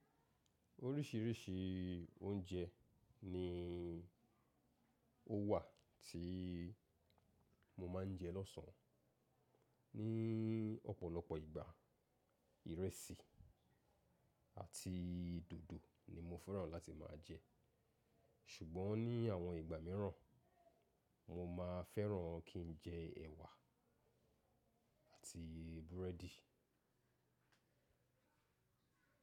Oríṣìíríṣìí oúnjẹ ni ó wà tí mo máa ń jẹ lọ́sàn-án. Ní ọ̀pọ̀lọpọ̀ ìgbà, ìrẹsì àti dòdò ni mo fẹ́ràn láti máa jẹ. Ṣùgbọ́n ní àwọn ìgbà mìíràn, mo máa fẹ́ràn kí ń jẹ ẹ̀wà àti búrẹ́dì.